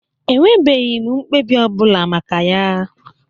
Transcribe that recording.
Enwebeghi m mkpebi ọbụla maka ya.